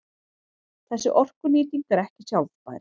Þessi orkunýting er ekki sjálfbær.